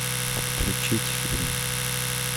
отключить фильм